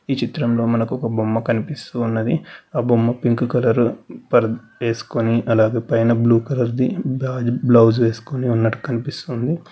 ఈ చిత్రంలో మనకు ఒక బొమ్మ కనిపిస్తూ ఉన్నది ఆ బొమ్మ పింక్ కలర్ వేసుకొని అలాగే పైన బ్లూ కలర్ ది బ్లౌస్ వేసుకుని ఉన్నట్టు కనిపిస్తుంది.